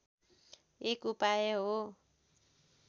एक उपाय हो